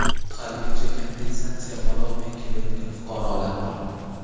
haligacha kompensatsiya ololmay kelayotgan fuqarolar bor.